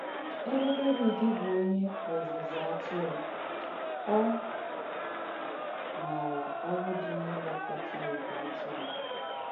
Èbē Dèvìd bụ onye ọ̀zụ́zụ̀ àtùrù, ọ máarà ọ̀rụ̀ dī n’ìlékọ́tà ìgwè àtùrù.